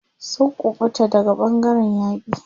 Sun kuɓuta daga ɓangaren yaƙi.